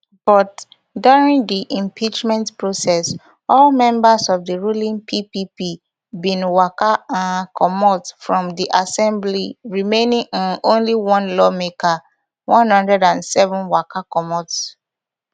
but during di impeachment process all members of di ruling ppp bin waka um comot from di assembly remaining um only one lawmaker one hundred and seven waka comot